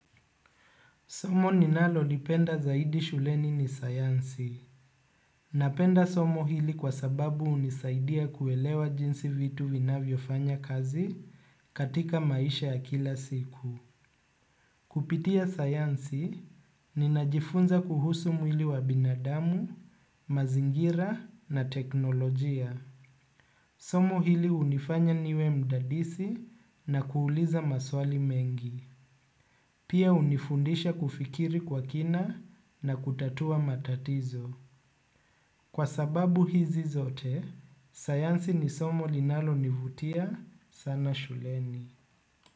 Somo ninalolipenda zaidi shuleni ni sayansi. Napenda somo hili kwa sababu hunisaidia kuelewa jinsi vitu vinavyofanya kazi katika maisha ya kila siku. Kupitia sayansi, ninajifunza kuhusu mwili wa binadamu, mazingira na teknolojia. Somo hili unifanya niwe mdadisi na kuuliza maswali mengi. Pia unifundisha kufikiri kwa kina na kutatua matatizo. Kwa sababu hizi zote, sayansi ni somo linalonivutia sana shuleni.